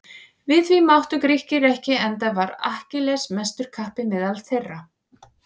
Við því máttu Grikkir ekki enda var Akkilles mestur kappi meðal þeirra.